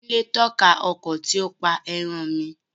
Kúnlé tọ́ka ọkọ tí ó pa ẹran mi